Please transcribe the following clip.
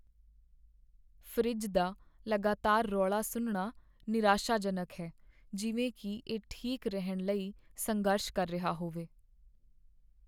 Fridge ਦਾ ਲਗਾਤਾਰ ਰੌਲਾ ਸੁਣਨਾ ਨਿਰਾਸ਼ਾਜਨਕ ਹੈ, ਜਿਵੇਂ ਕੀ ਇਹ ਠੀਕ ਰਹਿਣ ਲਈ ਸੰਘਰਸ਼ ਕਰ ਰਿਹਾ ਹੋਵੇ।